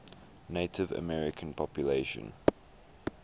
native american population